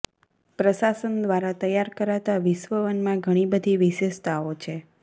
પ્રસાસન દ્વારા તૈયાર કરાતા વિશ્વ વનમા ઘણી બધી વિશેષતાઓ છે